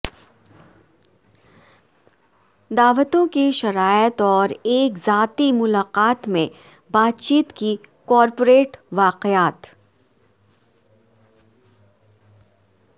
دعوتیں کی شرائط اور ایک ذاتی ملاقات میں بات چیت کی کارپوریٹ واقعات